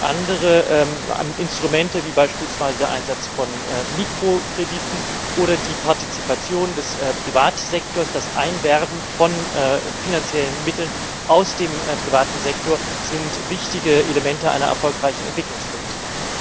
Andere Instrumente wie beispielsweise der Einsatz von Mikrokrediten oder die Partizipation des Privatsektors und das Einwerben von finanziellen Mitteln aus dem privaten Sektor sind ebenfalls wichtige Elemente einer erfolgreichen Entwicklungspolitik.